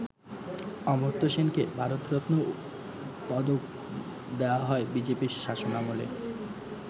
অমর্ত্য সেনকে ‘ভারত রত্ন’ পদক দেয়া হয় বিজেপির শাসনামলে।